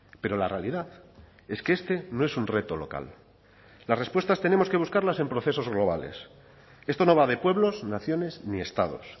pero la realidad es que este no es un reto local las respuestas tenemos que buscarlas en procesos globales esto no va de pueblos naciones ni estados